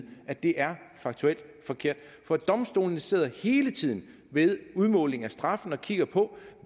at det er faktuelt forkert for domstolene sidder hele tiden ved udmåling af straffen og kigger på